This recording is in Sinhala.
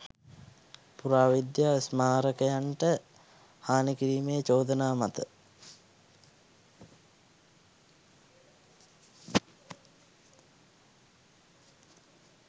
පුරාවිද්‍යා ස්මාරකයන්ට හානි කිරීමේ චෝදනා මත